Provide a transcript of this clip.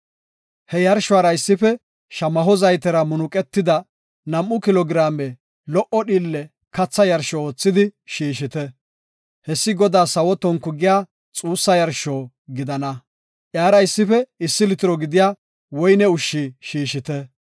He yarshuwara issife shamaho zaytera munuqetida nam7u kilo giraame lo77o dhiille katha yarsho oothidi shiishite. Hessi Godaas sawo tonku giya xussa yarsho gidana; iyara issife issi litiro gidiya woyne ushshi shiishite.